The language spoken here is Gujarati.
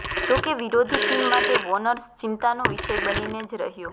જો કે વિરોધી ટીમ માટે વોર્નર ચિંતાનો વિષય બનીને જ રહ્યો